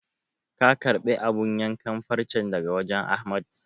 Ka karɓi abun yankan farcen daga wajen Ahmad?